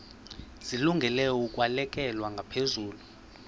zilungele ukwalekwa ngaphezulu